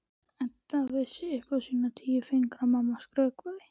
Edda vissi upp á sína tíu fingur að mamma skrökvaði.